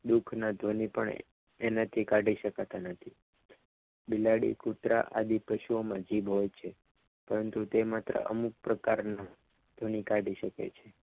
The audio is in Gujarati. દુઃખના ધ્વનિ પણ એનાથી કાઢી શકાતા નથી બિલાડી કુતરા આદિ પશુઓમાં જીભ હોય છે પરંતુ તે માત્ર અમુક પ્રકારની ધ્વનિ કાઢી શકે છે